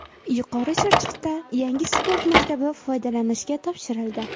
Yuqori Chirchiqda yangi sport maktabi foydalanishga topshirildi.